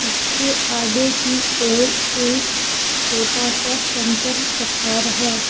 इसके आगे की ओर एक छोटा सा समतल पठार है।